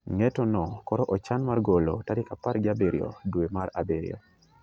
Ng'etono koro ochan mar golo tarik apar gi abiriyo dwe mar abiriyo.